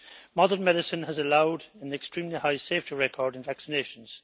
Modern medicine has allowed an extremely high safety record in vaccinations.